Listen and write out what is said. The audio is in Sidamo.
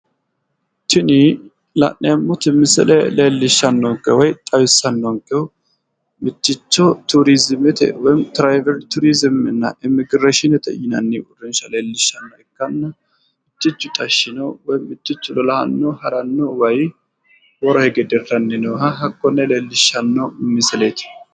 Tini la'neemmoti misile leellishannonna xawissannoti mitticho turimete baseeti mitticho haranno waa su'masi foonchoho yinanni